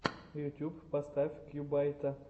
ютюб поставь кьюбайта